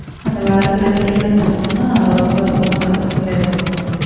அந்த வேலை கிடைக்கலைன்னு சொன்ன உடனே ரொம்ப மன வருத்தத்திலே இருப்பாங்க